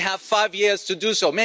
We have five years to do so.